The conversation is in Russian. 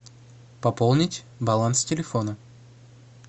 пополнить баланс телефона